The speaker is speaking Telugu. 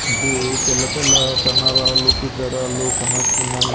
ఇది తెల్ల తెల్ల సన్న రాళ్ళు పెద్ద రాళ్ళు కానొస్తున్నాయి.